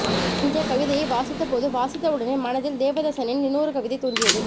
என்ற கவிதையை வாசித்த போது வாசித்த உடனே மனதில் தேவதச்சனின் இன்னொரு கவிதை தோன்றியது